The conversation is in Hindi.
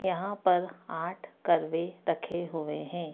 यहाँ पर आठ कर्वे रखे हुए है।